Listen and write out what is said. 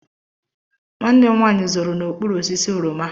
Nwanne m nwaanyị zoro n'okpuru osisi oroma.